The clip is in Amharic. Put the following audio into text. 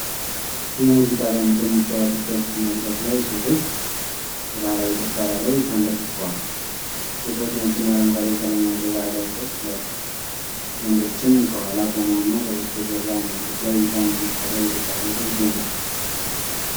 የሙዚቃ ባንድ በሚጫወትበት መድረክ ላይ፣ ሴቶች በባህላዊ ጭፈራ ላይ ተንበርክከዏል። ሴቶቹ ነጭና አረንጓዴ ቀለም ያለው ባህላዊ ልብስ ለብሰዋል። ወንዶችም ከኋላ ቆመውና ከበስተጀርባ መድረክ ላይ ባንድ መሳሪያ እየተጫወተ ይገኛል።